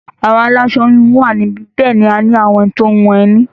Àwọn aláṣọ-híhun wà níbí, bẹ́ẹ̀ náà ni a ní àwọn tó ń hun ẹní.